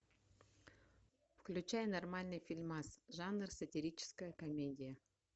включай нормальный фильмас жанр сатирическая комедия